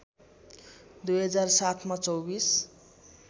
२००७ मा २४